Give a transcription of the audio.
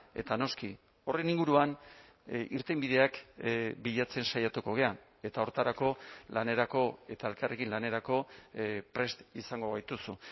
eta noski horren inguruan irtenbideak bilatzen saiatuko gara eta horretarako lanerako eta elkarrekin lanerako prest izango gaituzu